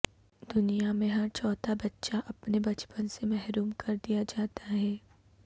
دنیا میں ہر چوتھا بچہ اپنے بچپن سے محروم کردیا جاتا ہے